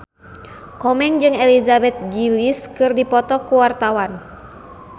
Komeng jeung Elizabeth Gillies keur dipoto ku wartawan